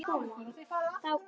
Þá gekk